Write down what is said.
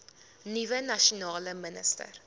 nuwe nasionale minister